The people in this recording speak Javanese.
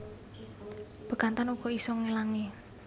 Bekantan uga isa ngelangi